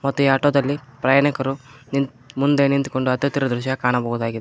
ತ್ತೆ ಆಟೋ ದಲ್ಲಿ ಪ್ರಯಾಣಿಕರು ನಿಂತ್ ಮುಂದೆ ನಿಂತ್ಕೊಂಡು ಹತ್ತುತ್ತಿರುವ ದೃಶ್ಯ ಕಾಣಬಹುದಾಗಿದೆ.